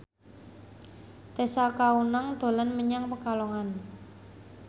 Tessa Kaunang dolan menyang Pekalongan